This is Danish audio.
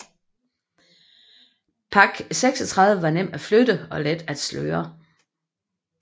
PaK 36 var nem at flytte og let at sløre